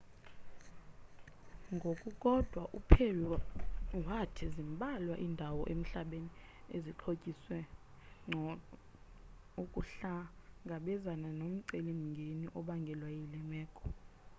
ngokukodwa uperry wathi zimbalwa iindawo emhlabeni ezixhotyiswe ngcono ukuhlangabezana nomceli mngeni obangelwe yile meko